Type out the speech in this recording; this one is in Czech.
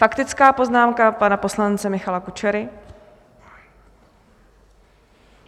Faktická poznámka pana poslance Michala Kučery.